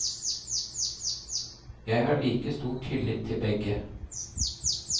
Jeg har like stor tillit til begge.